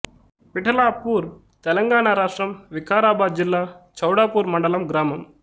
విఠలాపూర్ తెలంగాణ రాష్ట్రం వికారాబాదు జిల్లా చౌడాపూర్ మండలం గ్రామం